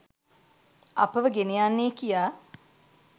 අපව ගෙන යන්නේ කියා